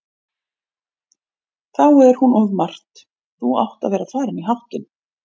Þá er hún of margt, þú átt að vera farinn í háttinn.